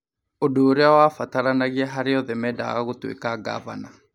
ũndũ ũrĩa wabataranagia harĩ arĩa othe mendaga gũtuĩka ngavana.